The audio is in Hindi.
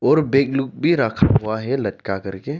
और बैग लोग भी रखा हुआ है लटका कर के।